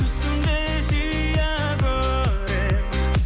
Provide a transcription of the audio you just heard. түсімде жиі көремін